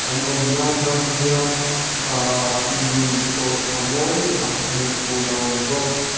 an awmna atang hian ahhh lui khawhthla mawi tak hmuh tur a awm bawk.